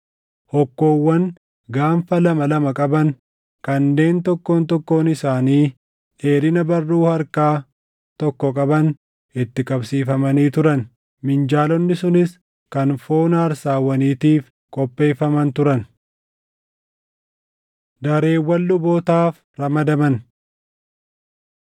Hokkoowwan gaanfa lama lama qaban kanneen tokkoon tokkoon isaanii dheerina barruu harkaa tokko qaban itti qabsiifamanii turan. Minjaalonni sunis kan foon aarsaawwaniitiif qopheeffaman turan. Dareewwan Lubootaaf Ramadaman